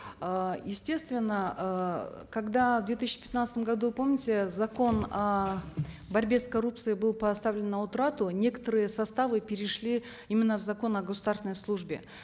э естественно э когда в две тысячи пятнадцатом году помните закон о борьбе с коррупцией был поставлен на утрату некоторые составы перешли именно в закон о государственной службе